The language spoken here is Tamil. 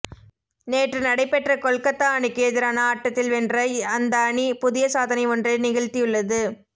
நேற்று நடைபெற்ற கொல்கத்தா அணிக்கு எதிரான ஆட்டத்தில் வென்ற அந்த அணி புதிய சாதனை ஒன்றை நிகழ்த்தியுள்ளது